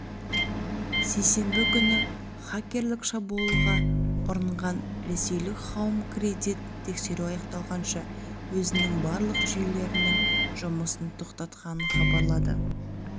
сейсенбі күні хакерлік шабуылға ұрынған ресейлік хоум кредит тексеру аяқталғанша өзінің барлық жүйлерінің жұмысын тоқтатқанын хабарлады